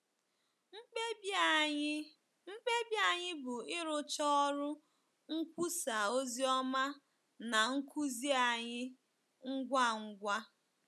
Mkpebi anyị Mkpebi anyị bụ ịrụcha ọrụ nkwusa ozioma na nkuzi anyị ngwa ngwa.